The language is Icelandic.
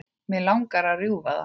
Mig langar að rjúfa það.